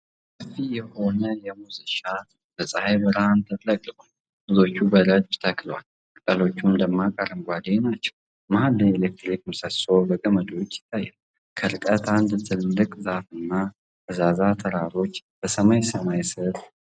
ሰፊ የሆነ የሙዝ እርሻ በፀሐይ ብርሃን ተጥለቅልቋል። ሙዞቹ በረድፍ ተክለዋል፤ ቅጠሎቻቸውም ደማቅ አረንጓዴ ናቸው። መሀል ላይ የኤሌክትሪክ ምሰሶ በገመዶች ይታያል። ከርቀት አንድ ትልቅ ዛፍና ፈዛዛ ተራራዎች በሰማያዊ ሰማይ ስር ይገኛሉ።